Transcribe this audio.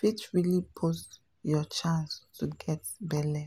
fit really boost your chance to get belle.